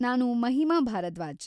ನಾನು ಮಹಿಮಾ ಭಾರದ್ವಾಜ್‌.